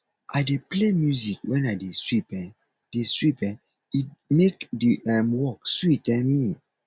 i dey play music when i dey sweep um dey sweep um e make the um work sweet um me